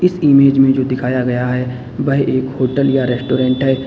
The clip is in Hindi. इस इमेज में जो दिखाया गया है वह एक होटल या रेस्टोरेंट है।